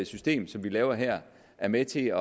system som vi laver her er med til